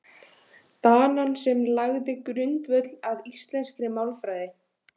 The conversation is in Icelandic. Danann sem lagði grundvöll að íslenskri málfræði.